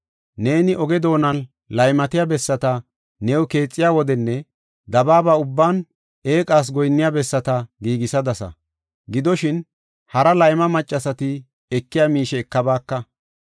Neeni oge doonan laymatiya bessata new keexiya wodenne dabaaba ubban eeqas goyinniya bessata giigisadasa. Gidoshin, hara layma maccasati ekiya miishe ekabaaka.